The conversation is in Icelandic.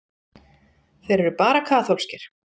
Þeir eru bara kaþólskir.